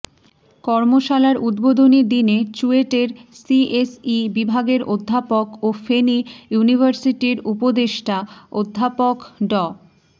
কর্মশালার উদ্বোধনী দিনে চুয়েটের সিএসই বিভাগের অধ্যাপক ও ফেনী ইউনিভার্সিটির উপদেষ্টা অধ্যাপক ড